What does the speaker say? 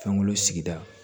Fɛnkolo sigida